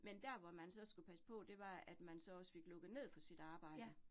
Men der, hvor man så skulle passe på, det var, at man så også fik lukket ned for sit arbejde